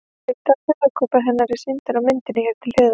Hluti af höfuðkúpu hennar er sýndur á myndinni hér til hliðar.